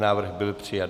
Návrh byl přijat.